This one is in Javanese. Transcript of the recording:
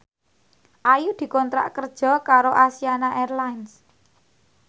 Ayu dikontrak kerja karo Asiana Airlines